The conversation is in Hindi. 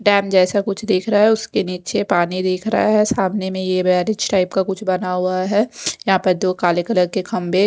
डैम जैसा कुछ दिख रहा है उसके नीचे पानी दिख रहा है सामने में टाइप का कुछ बना हुआ है यहां पर दो काले कलर के खंभे--